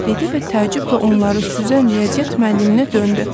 dedi və təəccüblə onları süzən riyaziyyat müəlliminə döndü.